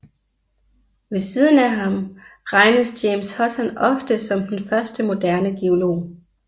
Ved siden af ham regnes James Hutton ofte som den første moderne geolog